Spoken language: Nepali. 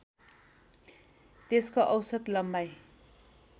त्यसको औसत लम्बाइ